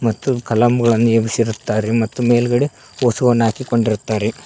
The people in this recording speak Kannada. ಮತ್ತು ಕಲಾಂಗಳನ್ನು ಎಬ್ಸಿರುತ್ತಾರೆ ಮತ್ತು ಮೇಲ್ಗಡೆ ಓಸುವನ್ನು ಹಾಕಿಕೊಂಡಿರುತ್ತಾರೆ.